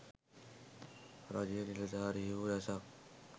රජයේ නිලධාරීහු රැසක්